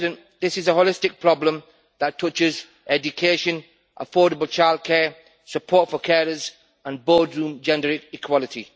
This is a holistic problem that touches education, affordable childcare, support for carers and boardroom gender equality.